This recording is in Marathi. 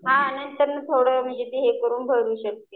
हां नंतरनं थोडं ते हे करून भरू शकते.